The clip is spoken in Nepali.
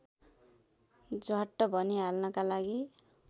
झ्वाट्ट भनिहाल्नका लागि